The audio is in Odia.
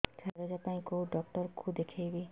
ଛାତି ଦରଜ ପାଇଁ କୋଉ ଡକ୍ଟର କୁ ଦେଖେଇବି